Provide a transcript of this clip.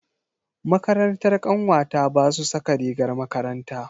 Makarantar ƙanwata ba su saka rigar makaranta.